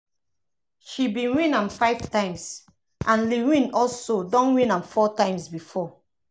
she bin win am five times and lil wayne also don win am four times before.